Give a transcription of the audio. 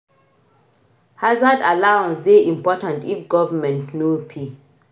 Hazard allowance dey important if government no pay